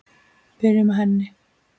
Byrjum á henni.